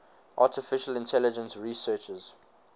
artificial intelligence researchers